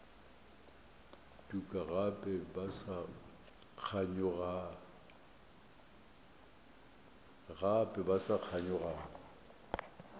tuka gape ba sa kganyogana